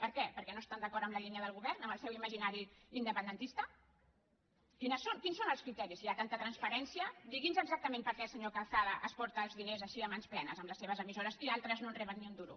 per què perquè no estan d’acord amb la línia del govern amb el seu imaginari independentista quins són els criteris si hi ha tan·ta transparència digui’ns exactament per què el se·nyor calçada s’emporta els diners així a mans plenes amb les seves emissores i altres no en reben ni un du·ro